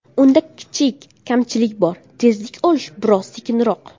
Unda kichik kamchilik bor, tezlik olishi biroz sekinroq.